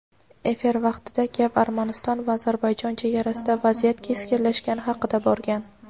Efir vaqtida gap Armaniston va Ozarbayjon chegarasida vaziyat keskinlashgani haqida borgan.